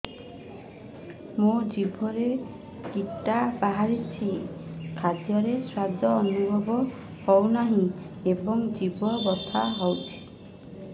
ମୋ ଜିଭରେ କିଟା ବାହାରିଛି ଖାଦ୍ଯୟରେ ସ୍ୱାଦ ଅନୁଭବ ହଉନାହିଁ ଏବଂ ଜିଭ ବଥା ହଉଛି